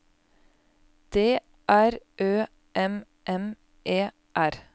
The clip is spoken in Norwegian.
D R Ø M M E R